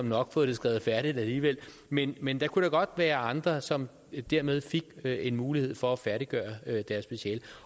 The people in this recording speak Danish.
nok fået det skrevet færdig alligevel men men der kunne da godt være andre som dermed fik en mulighed for at færdiggøre deres speciale